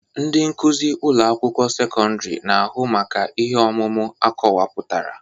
Ndị nkuzi ụlọ akwụkwọ sekọndrị na-ahụ maka ihe ọmụmụ akọwapụtara